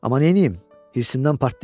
Amma neynim, hirsimdən partlayıram.